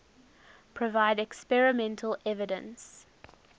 provide experimental evidence